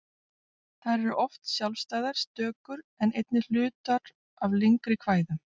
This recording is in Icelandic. Þær eru oft sjálfstæðar stökur en einnig hlutar af lengri kvæðum.